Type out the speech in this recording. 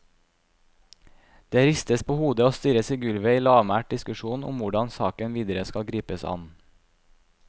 Det ristes på hodet og stirres i gulvet i lavmælt diskusjon om hvordan saken videre skal gripes an.